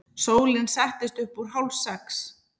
Sólin settist upp úr hálfsex.